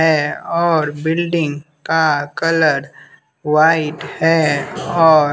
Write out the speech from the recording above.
है और बिल्डिंग का कलर वाइट है और --